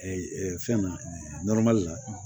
fɛn na la